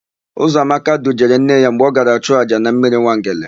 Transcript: Ụzọamaka dujere nne ya mgbe ọ gara chụọ àjà na mmiri Nwangele.